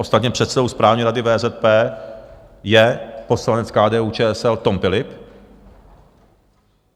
Ostatně předsedou Správní rady VZP je poslanec KDU-ČSL Tom Philipp.